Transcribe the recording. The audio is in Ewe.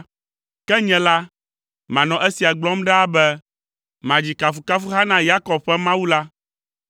Ke nye la, manɔ esia gblɔm ɖaa be; madzi kafukafuha na Yakob ƒe Mawu la;